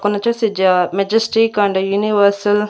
కొన్నొచ్చేసి జ majestic and universal --